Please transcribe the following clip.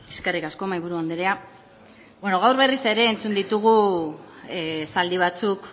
eskerrik asko mahaiburu anderea beno gau berriz ere ezin ditugu esaldi batzuk